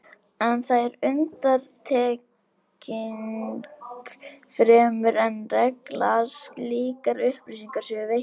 En það er undantekning fremur en regla að slíkar upplýsingar séu veittar.